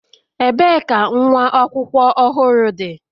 ebee ka nwa akwụkwọ ohuru di?